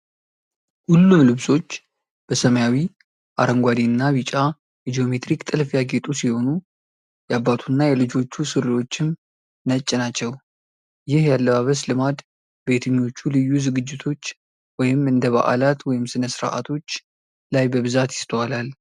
ሁሉም ልብሶች በሰማያዊ፣ አረንጓዴ እና ቢጫ የጂኦሜትሪክ ጥልፍ ያጌጡ ሲሆኑ፤ የአባቱና የልጆቹ ሱሪዎችም ነጭ ናቸው። ይህ የአለባበስ ልማድ በየትኞቹ ልዩ ዝግጅቶች (እንደ በዓላት ወይም ሥነ ሥርዓቶች) ላይ በብዛት ይስተዋላል?